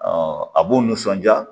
a b'u nisɔndiya